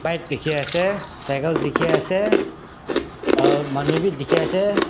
bike dikhi ase cycle dikhi ase um manu b dikhi ase.